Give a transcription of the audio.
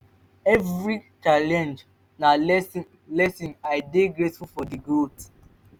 evri challenge na lesson lesson i dey grateful for di growth